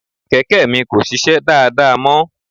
Kẹ̀kẹ́ mi kò sisẹ́ dáadáa mọ́.